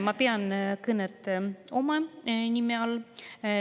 Ma pean kõnet.